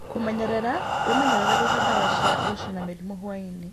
Kũmenyerera: Wĩmenyerere gũita ndawa cia gũcina mĩrimũ hwaĩ-inĩ